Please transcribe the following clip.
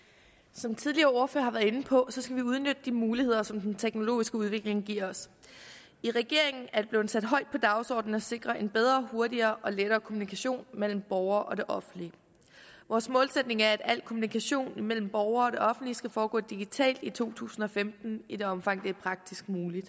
som tidligere ordførere har været inde på skal vi udnytte de muligheder som den teknologiske udvikling giver os i regeringen er det blevet sat højt på dagsordenen at sikre en bedre hurtigere og lettere kommunikation mellem borgere og det offentlige vores målsætning er at al kommunikation imellem borgere og det offentlige skal foregå digitalt i to tusind og femten i det omfang det er praktisk muligt